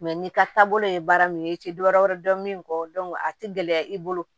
n'i ka taabolo ye baara min ye i tɛ dɔ wɛrɛ dɔn min kɔ a tɛ gɛlɛya i bolo